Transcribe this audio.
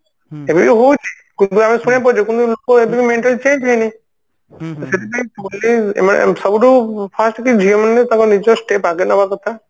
ଏବେ ବି ହଉଛି ଆମେ ଶୁଣିବାକୁ ପାଉଛେ କିନ୍ତୁ ଲୋକଙ୍କ ଏଯାଏଁ mentality change ହେଇନି ସେଥିପାଇଁ ଏମାନେ ସବୁଠୁ first କି ଝିଅମାନେ ତାଙ୍କ ନିଜ step ଆଗ ନବା କଥା